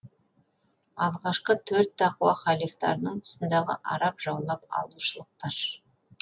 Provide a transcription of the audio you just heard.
алғашқы төрт тақуа халифтарының тұсындағы араб жаулап алушылықтар